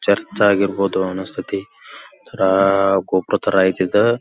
Church ಆಗಿರ್ಬಹುದು ಅನಸತೈತಿ ರಾ ಗೊಬ್ಬರ ಐತೆ ಇದು.